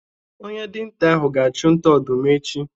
Onye dinta ahụ ga-achu nta ọdụm echi